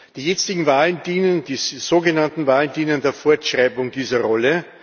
Die jetzigen Wahlen, die sogenannten Wahlen, dienen der Fortschreibung dieser Rolle.